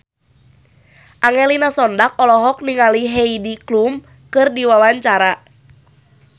Angelina Sondakh olohok ningali Heidi Klum keur diwawancara